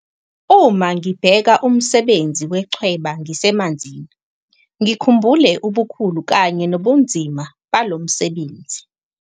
Uma ngibheka umsebenzi wechweba ngisemanzini, ngikhumbule ubukhulu kanye nobunzima balo msebenzi.